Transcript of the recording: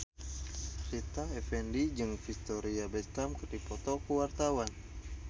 Rita Effendy jeung Victoria Beckham keur dipoto ku wartawan